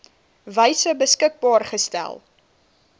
wyse beskikbaar gestel